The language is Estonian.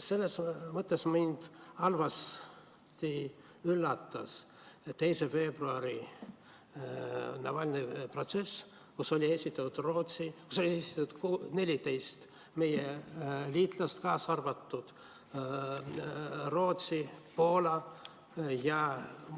Selles mõttes mind halvas mõttes üllatas 2. veebruari Navalnõi protsess, kus oli esindatud 14 meie liitlast, kaasa arvatud Rootsi, Poola ja